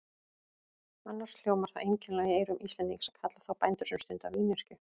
Annars hljómar það einkennilega í eyrum Íslendings að kalla þá bændur sem stunda vínyrkju.